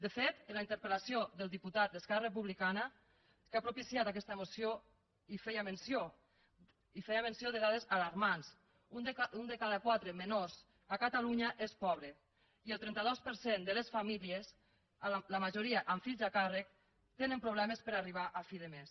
de fet la interpelblicana que ha propiciat aquesta moció hi feia menció i feia menció de dades alarmants un de cada quatre menors a catalunya és pobre i el trenta dos per cent de les famílies la majoria amb fills a càrrec tenen problemes per arribar a fi de mes